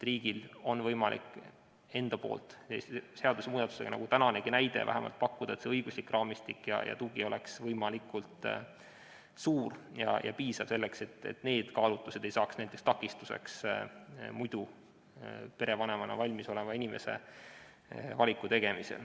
Riigil on võimalik seadusemuudatusega pakkuda seda, nagu tänanesegi näite puhul, et õiguslik raamistik ja tugi oleks võimalikult suur ja piisav, et vähemalt need kaalutlused ei saaks takistuseks muidu perevanemaks valmis oleva inimese valiku tegemisel.